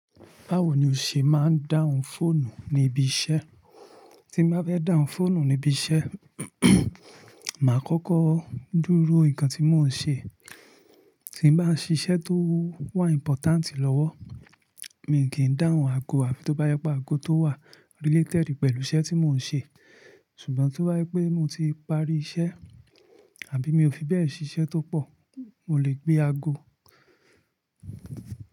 Báwo ni o ṣe máa ń dáhùn fóònù níbi iṣẹ́? Tí ń bá fẹ́ dáhùn fóònù níbi iṣẹ́, màá kọ́kọ́ dúró nǹkan tí mò ń ṣe. Tí ń bàá ṣiṣẹ́ tó wà important lọ́wọ́, mi kìí dáhùn aago, àbí tó bá yẹ pé aago tó wà related pẹ̀lú iṣẹ́ tí mò ń ṣe. Ṣùgbọ́n tó bá yẹ pé mo ti parí iṣẹ́, àbí mi ò fi bẹ́ẹ̀ ṣiṣẹ́ tó pọ̀, mò lè gbé aago.